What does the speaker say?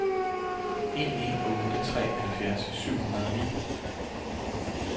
en en otte tre halvfjerds syv hundrede og ni